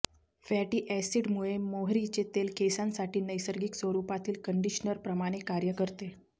fatty अॅसिडमुळे मोहरीचे तेल केसांसाठी नैसर्गिक स्वरुपातील कंडिशनर प्रमाणे कार्य करते